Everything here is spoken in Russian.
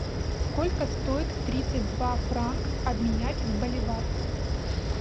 сколько стоит тридцать два франк обменять в боливар